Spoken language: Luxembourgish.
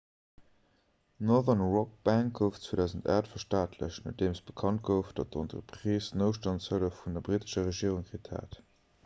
d'northern rock bank gouf 2008 verstaatlecht nodeem bekannt gouf datt d'entreprise noutstandshëllef vun der brittescher regierung kritt hat